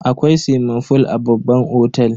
Akwai swimming fool a babban otel.